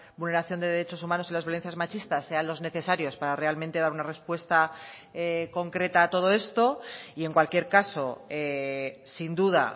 vulneración de derechos humanos y las violencias machistas sean los necesarios para realmente dar una respuesta concreta a todo esto y en cualquier caso sin duda